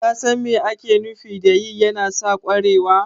ka san mai ake nufi da yi yana sa ƙwarewa?